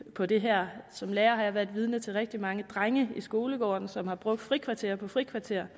på det her som lærer har jeg været vidne til rigtig mange drenge i skolegården som har brugt frikvarter på frikvarter